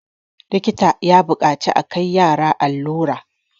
likita ya buƙaci a Kai yara allura